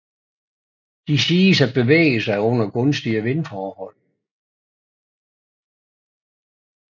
De siges at bevæge sig under gunstige vindforhold